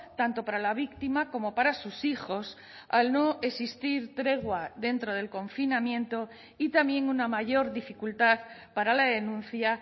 tanto para la víctima como para sus hijos al no existir tregua dentro del confinamiento y también una mayor dificultad para la denuncia